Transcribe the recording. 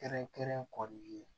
Kɛrɛnkɛrɛn kɔ i ye